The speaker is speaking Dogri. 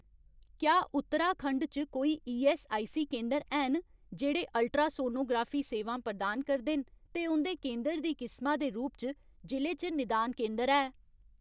क्या उत्तराखंड च कोई ईऐस्सआईसी केंदर हैन जेह्ड़े अल्ट्रासोनोग्राफी सेवां प्रदान करदे न ते उं'दे केंदर दी किसमा दे रूप च जि'ले च निदान केंदर है ?